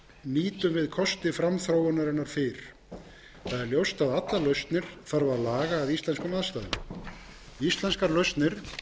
nýtum við kosti framþróunarinnar fyrr það ljóst að allar lausnir þarf að laga að íslenskum aðstæðum íslenskar lausnir